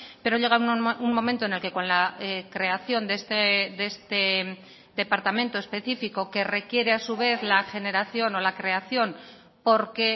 pero llega un momento en el que con la creación de este departamento específico que requiere a su vez la generación o la creación porque